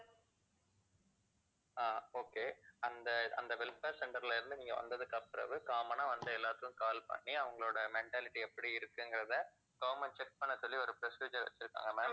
ஆஹ் okay அந்த அந்த welfare center ல இருந்து நீங்க வந்ததுக்கு அப்புறம் common ஆ வந்த எல்லாருக்கும் call பண்ணி அவங்களோட mentality எப்படி இருக்குங்கிறதை government check பண்ண சொல்லி ஒரு procedure வெச்சிருங்காங்க ma'am